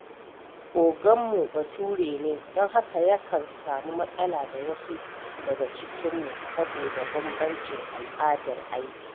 Oganmu Bature ne, don haka yakan samu matsala da wasu daga cikinmu saboda bambancin al’adar aiki.